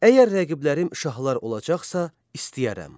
Əgər rəqiblərim şahlar olacaqsa, istəyərəm.